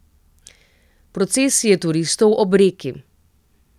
Procesije turistov ob reki.